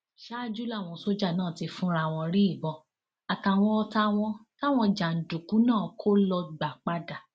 ṣáájú làwọn sójà náà ti fúnra wọn rí ìbọn àtàwọn ọtá wọn táwọn jàǹdùkú náà kọ ló gbà padà